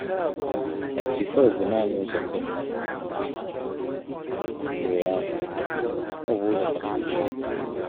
MT4 bụ naanị ụzọ ndị mmadụ si ere ahịa, ọ bụ ụzọ kasị ochie.